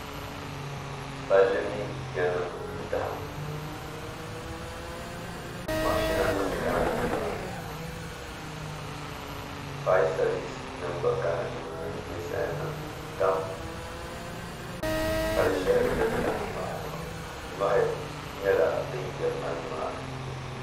palli mini yanima n-dahim mashinanima kana nimaa ni faya sabisinima gba kana nimaa ni ninsalanima tam pal' shɛli din dahim maa zuɣu nyɔhi nyɛla din yirina nimaa ni